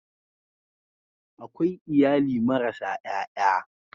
Akwai iyali marasa ƴaƴa.